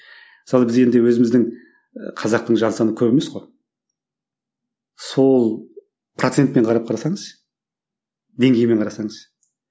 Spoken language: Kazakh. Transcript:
мысалы біз енді өзіміздің ы қазақтың жан саны көп емес қой сол процентпен қарап қарасаңыз деңгеймен қарасаңыз